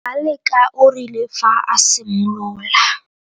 Ngaleka o rile fa a simolola.